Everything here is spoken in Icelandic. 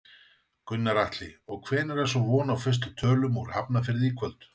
Gunnar Atli: Og hvenær er svo von á fyrstu tölum úr Hafnarfirði í kvöld?